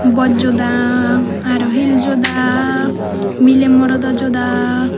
boat joda aro heels joda mile morodo joda.